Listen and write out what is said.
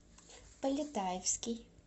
полетаевский